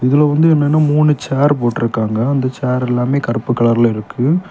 இதுல வந்து என்னன்னா மூணு ஷேர் போட்டு இருக்காங்க. அந்த ஷேர் எல்லாமே கருப்பு கலர்ல இருக்கு.